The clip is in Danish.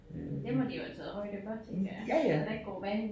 Det må de jo have taget højde for tænker jeg så der ikke går vand